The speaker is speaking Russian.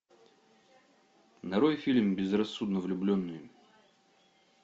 нарой фильм безрассудно влюбленные